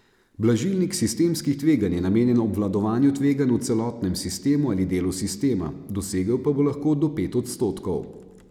Blažilnik sistemskih tveganj je namenjen obvladovanju tveganj v celotnem sistemu ali delu sistema, dosegel pa bo lahko do pet odstotkov.